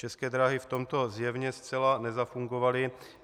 České dráhy v tomto zjevně zcela nezafungovaly.